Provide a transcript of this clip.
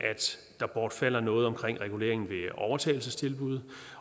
der bortfalder noget omkring reguleringen ved overtagelsestilbud